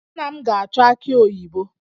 Nna m ga-achọ aki oyibo